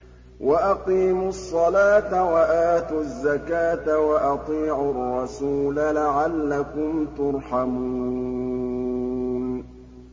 وَأَقِيمُوا الصَّلَاةَ وَآتُوا الزَّكَاةَ وَأَطِيعُوا الرَّسُولَ لَعَلَّكُمْ تُرْحَمُونَ